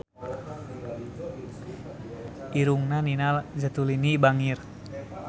Irungna Nina Zatulini bangir